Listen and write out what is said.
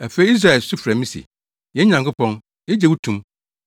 Afei Israel su frɛ me se, ‘Yɛn Nyankopɔn, yegye wo to mu!’